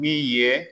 Min ye